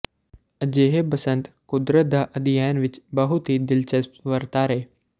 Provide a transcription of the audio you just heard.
ਅਜਿਹੇ ਬਸੰਤ ਕੁਦਰਤ ਦਾ ਅਧਿਐਨ ਵਿੱਚ ਬਹੁਤ ਹੀ ਦਿਲਚਸਪ ਵਰਤਾਰੇ